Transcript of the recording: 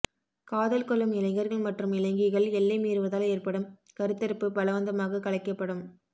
காதல் கொள்ளும் இளைஞர்கள் மற்றும் இளைஞிகள் எல்லை மீறுவதால் ஏற்படும் கருத்தரிப்பு பலவந்தமாக கலைக்கப்படும்